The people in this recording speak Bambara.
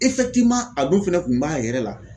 a dun fɛnɛ kun b'a yɛrɛ la.